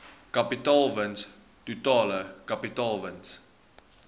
kapitaalwins totale kapitaalwins